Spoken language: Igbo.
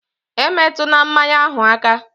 E metuna mmanya ahụ aka!